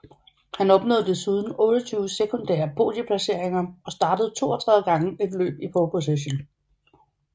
Han opnåede desuden 28 sekundære podieplaceringer og startede 32 gange et løb i pole position